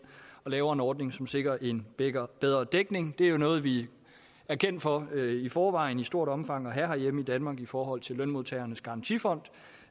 og laver en ordning som sikrer en bedre bedre dækning det er jo noget vi er kendt for i forvejen i stort omfang herhjemme i danmark i forhold til lønmodtagernes garantifond